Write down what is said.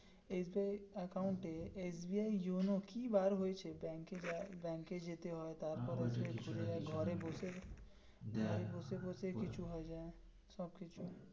SBI account এ SBI YONO কি বার হয়েছে ব্যাঙ্ক যাই ব্যাংকে যেতে হয় তারপর ঘরে বসে বাড়ি বসে বসে কিছু হয় যাই সব কিছু.